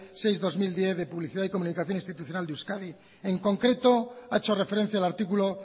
seis barra dos mil diez de publicidad y comunicació institucional de euskadi en concreto ha hecho referencia al artículo